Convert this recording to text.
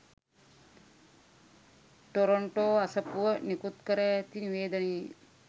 Toronto අසපුව නිකුත්කර ඇති නිවේදනයේ